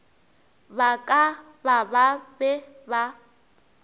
ba ka ba be ba